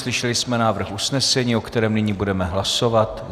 Slyšeli jsme návrh usnesení, o kterém nyní budeme hlasovat.